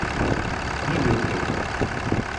Ni bil hec!